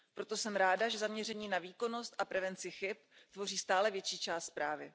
Proto jsem ráda, že zaměření na výkonnost a prevenci chyb tvoří stále větší část zprávy.